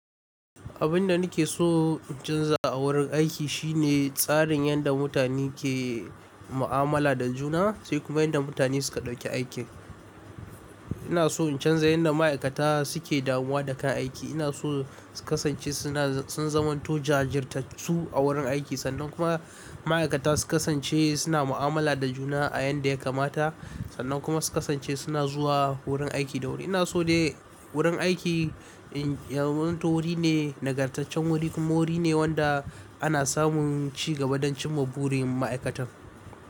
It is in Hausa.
Abin da nake so in canza a wurin aiki shine tsarin yadda mutane ke mu'amala da juna sai kuma yadda mutane suka ɗauki aiki. Ina so in canza yadda ma'aikata suke damuwa da kan aiki. Ina so su kasance suna sun zamanto jajirtattu a wurin aiki sannan kuma ma'aikata su kasance suna mu'amala da juna a yanda ya kamata sannan kuma su kasance suna zuwa wurin aiki da wuri. Ina so dai wurin aiki ya zamanto wuri ne nagartaccen wuri kuma wuri ne wanda ana samun ci gaba don cimma burin ma'aikatan.